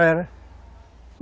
Era.